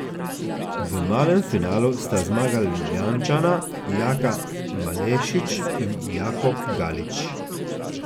V malem finalu sta zmagala Ljubljančana Jaka Malešič in Jakob Galič.